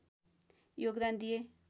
योगदान दिए